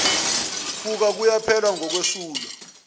kuka kuyaphela ngokwesulwa